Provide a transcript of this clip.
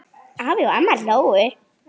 Afi og amma hlógu.